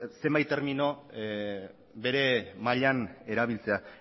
zenbait termino bere mailan erabiltzea